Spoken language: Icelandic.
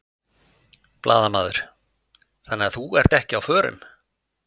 Blaðamaður: Þannig að þú ert ekki á förum?